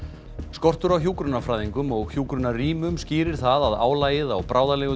skortur á hjúkrunarfræðingum og hjúkrunarrýmum skýrir það að álagið á